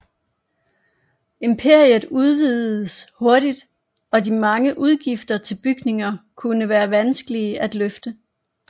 Imperiet udvidedes hurtigt og de mange udgifter til bygninger kunne være vanskelige at løfte